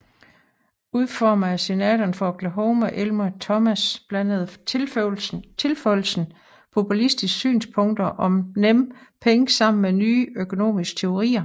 Udformet af senatoren fra Oklahoma Elmer Thomas blandede tilføjelsen populistiske synspunkter om nemme penge sammen med nye økonomiske teorier